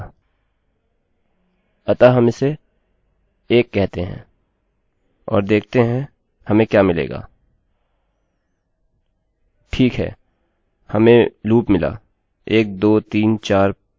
अतः हम इसे 1 कहते हैं और देखते हैं हमें क्या मिलेगा ठीक है हमें loop मिला १२३४५६७८९१० बार